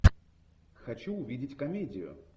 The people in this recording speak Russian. хочу увидеть комедию